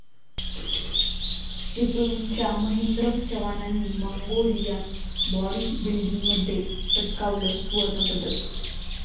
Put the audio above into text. चिपळूणच्या महेंद्र चव्हाणांनी मंगोलियात बाॅडीबिल्डिंगमध्ये पटकावलं सुवर्णपदक